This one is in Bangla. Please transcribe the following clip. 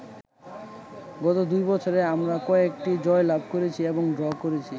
গত দুই বছরে আমরা কয়েকটি জয়লাভ করেছি এবং ড্র করেছি।